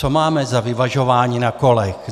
Co máme za vyvažování na kolech?